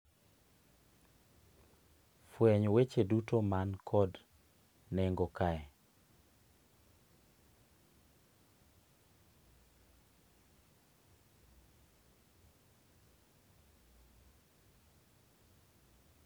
No views